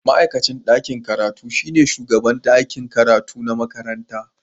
Ma'aikacin ɗakin karatu shine shugaban ɗakin karatu na makaranta